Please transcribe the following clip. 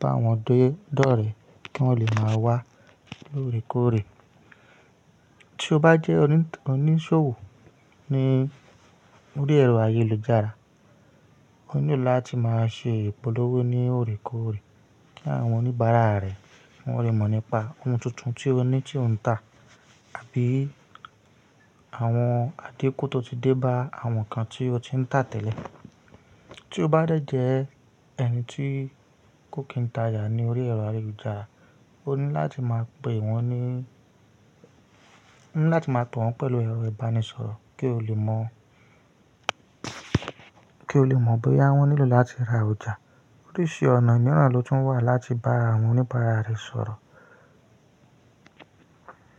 bá wọn dédọ̀rẹ̀ kí wọ́n lè máa wá lóòrèkóòrè. Tí o bá jẹ́ oníṣòwò ní orí ẹ̀rọ ayélujára, o nílò láti máa ṣe ìpolówó ní òrèkóòrè kí àwọn oníbàárà rẹ wọ́n lè mọ̀ nípa ohun tuntun tí o ní tí ò ń tà àbí àwọn adéko tó ti dé bá àwọn kan tí o ti ń tà tẹ́lẹ̀. Tí o bá dẹ̀ jẹ́ ẹni tí kò kín tajà ní orí ẹ̀rọ ayélujára, o ní láti máa pè wọ́n ní o ní láti máa tọ̀ wọ́n pẹ̀lú ẹ̀rọ ìbánisọ̀rọ̀ kí o lè mọ̀, kí o lè mọ̀ bóyá wọ́n nílò láti ra ọjà. Oríṣi ọ̀nà mìíràn ló tún wà láti bá àwọn oníbàárà rẹ sọ̀rọ̀.